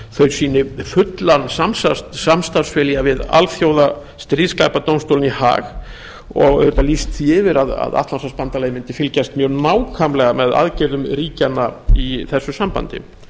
þau sýni fullan samstarfsvilja við alþjóða stríðsglæpadómstólinn í haag og auðvitað lýst því yfir að atlantshafsbandalagið mundi fylgjast mjög nákvæmlega með aðgerðum ríkjanna í þessu sambandi